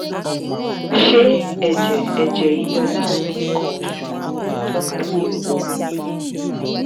ṣé ẹ̀jẹ̀ ẹ̀jẹ̀ yíyọ lááàrín nǹkan oṣù ń tọ́ka sí oyún níní?